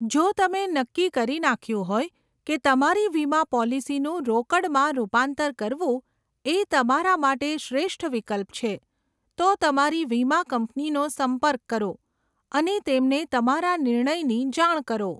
જો તમે નક્કી કરી નાખ્યું હોય કે તમારી વીમા પોલિસીનું રોકડમાં રૂપાંતર કરવું એ તમારા માટે શ્રેષ્ઠ વિકલ્પ છે, તો તમારી વીમા કંપનીનો સંપર્ક કરો અને તેમને તમારા નિર્ણયની જાણ કરો.